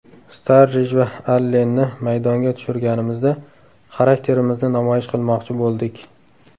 Starrij va Allenni maydonga tushirganimizda xarakterimizni namoyish qilmoqchi bo‘ldik.